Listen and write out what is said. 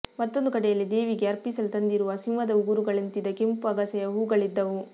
ಮತ್ತೊಂದು ಕಡೆಯಲ್ಲಿ ದೇವಿಗೆ ಅರ್ಪಿಸಲು ತಂದಿರುವ ಸಿಂಹದ ಉಗುರುಗಳಂತಿದ್ದ ಕೆಂಪು ಅಗಸೆಯ ಹೂವುಗಳಿದ್ದುವು